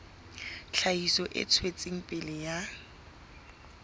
tlhahiso e tswetseng pele ya